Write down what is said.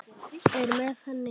Er með henni.